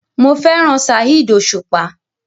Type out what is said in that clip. Mo fẹ́ràn Saheed Osupa.